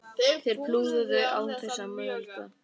Þeir púluðu án þess að mögla.